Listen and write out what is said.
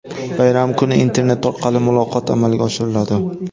Bayram kuni internet orqali muloqot amalga oshiriladi.